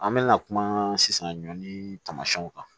An mɛna kuma sisan ɲɔani taamasiyɛnw kan